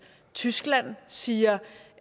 tyskland siger